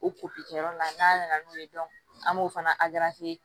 O kɛyɔrɔ la n'a nana n'o ye an b'o fana